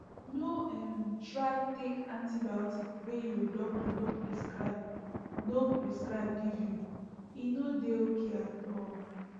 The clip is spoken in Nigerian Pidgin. no um try take antibiotic wey your doctor no prescribe no prescribe give you e no de okay at all